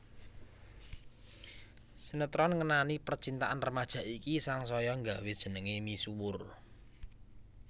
Sinetron ngenani percintaan remaja iki sangsaya nggawé jenengé misuwur